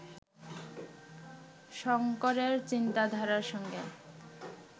শঙ্করের চিন্তাধারার সঙ্গে